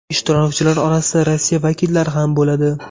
Ishtirokchilar orasida Rossiya vakillari ham bo‘ladi.